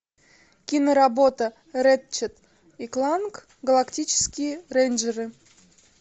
киноработа рэтчет и кланк галактические рейнджеры